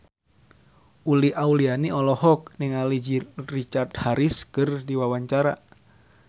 Uli Auliani olohok ningali Richard Harris keur diwawancara